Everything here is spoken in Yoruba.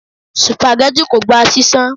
Supageti kò gba ṣíṣan.